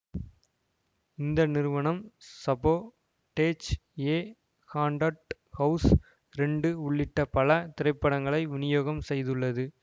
இந்த நிறுவனம் Sabotage A Haunted House ரெண்டு உள்ளிட்ட பல திரைப்படங்களை விநியோகம் செய்துள்ளது